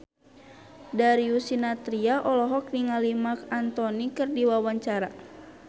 Darius Sinathrya olohok ningali Marc Anthony keur diwawancara